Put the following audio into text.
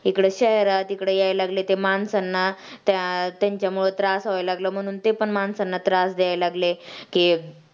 इकडं शहरात इकडं यायला लागले ते माणसांना त्या त्यांच्यामुळं त्रास व्हायला लागला म्हणून ते पण माणसांना त्रास द्यायला लागले.